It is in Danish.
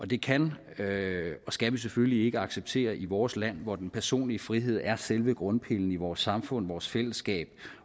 det kan og skal vi selvfølgelig ikke acceptere i vores land hvor den personlige frihed er selve grundpillen i vores samfund vores fællesskab